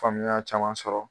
Faamuya caman sɔrɔ